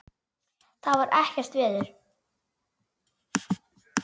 Það er ekkert veður.